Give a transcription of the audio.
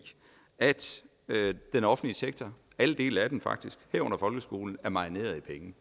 at den offentlige sektor alle dele af den faktisk herunder folkeskolen er marineret i penge